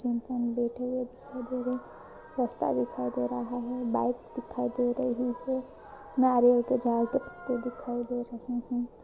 लेटे हुए दिखाई दे रहे रस्ता दिखाई दे रहा है बाइक दिखाई दे रही है नारियल के झाड़ के पत्ते दिखाई दे रहे है।